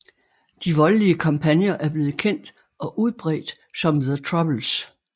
De voldelige kampagner er blevet kendt og udbredt som The Troubles